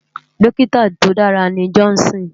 Dòkitá tó dàrá ni Johnson